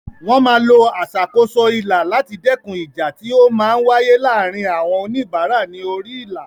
Wọ́n máa lo aṣàkóso ilà láti dẹ́kun ìjà tí ó máa ń wáyé láàárín àwọn oníbàárà ní orí ilà.